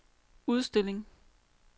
udstilling